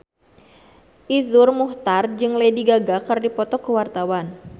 Iszur Muchtar jeung Lady Gaga keur dipoto ku wartawan